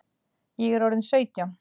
Ég er orðin sautján!